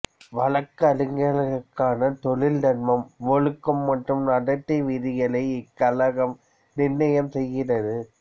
வழக்குரைஞர்களுக்கான தொழில் தர்மம் ஒழுக்கம் மற்றும் நடத்தை விதிகளை இக்கழகம் நிர்ணயம் செய்கிறது